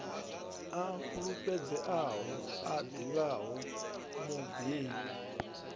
a fulufhedzeaho a ḓivhaho mubebi